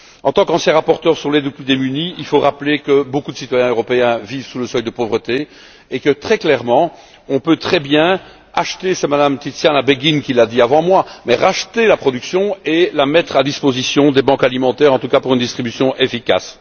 En tant qu'ancien rapporteur sur l'aide aux plus démunis, je veux rappeler que beaucoup de citoyens européens vivent sous le seuil de pauvreté et que, très clairement, on peut très bien c'est Mme Tiziana Beghin qui l'a dit avant moi racheter la production et la mettre à disposition des banques alimentaires, en tout cas pour une distribution efficace.